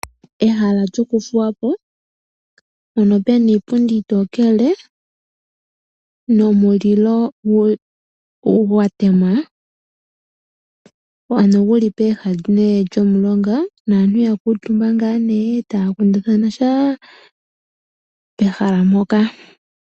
Ehala lyokuthuwa po mpono pena iipundi iitokele nomulilo gwa temwa, ano guli nee pooha momulonga naantu ya kuutumba ngaa nee taya kundathana sha pehala mpoka.